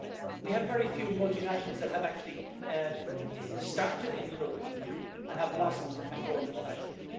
We have very few multinationals that have actually started in the European Union and have blossomed and grown internationally.